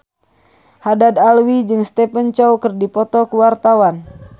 Haddad Alwi jeung Stephen Chow keur dipoto ku wartawan